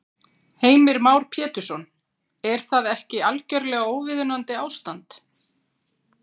Heimir Már Pétursson: Er það ekki algjörlega óviðunandi ástand?